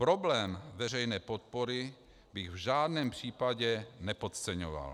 Problém veřejné podpory bych v žádném případě nepodceňoval.